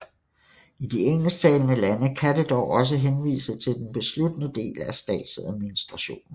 I de engelsktalende lande kan det dog også henvise til den besluttende del af statsadministrationen